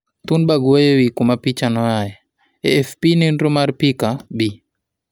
Thunberg wuoye wii kuma picha noae, AFP nenro mar pica, Bi.